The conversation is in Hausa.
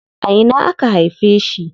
A ina aka haife shi?